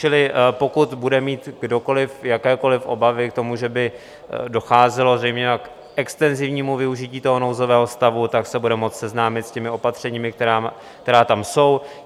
Čili pokud bude mít kdokoliv jakékoliv obavy k tomu, že by docházelo zejména k extenzivnímu využití toho nouzového stavu, tak se bude moci seznámit s těmi opatřeními, která tam jsou.